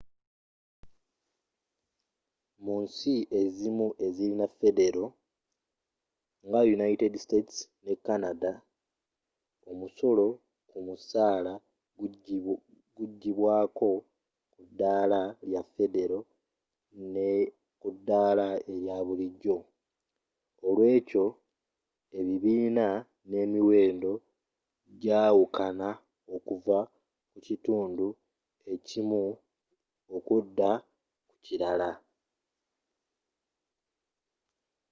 munsi ezimu ezirina federo nga united states ne canada omusolo kumusaala gugibwaako kudaala lya federo nekudaala erya bulijjo nolweekyo ebibiina n'emiwendo jawukana okuva kukitundu ekimu okudda kukilala